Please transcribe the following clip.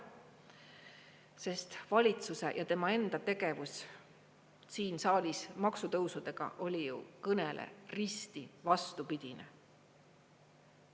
Sest valitsuse ja tema enda tegevus siin saalis maksutõusudega oli ju kõnele risti vastupidine.